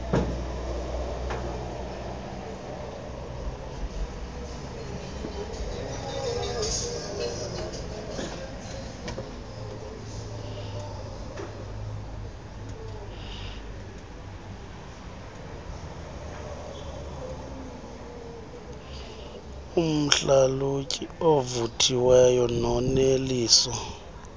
umhlalutyi ovuthiweyo noneliso